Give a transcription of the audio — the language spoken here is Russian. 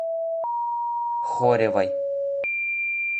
хоревой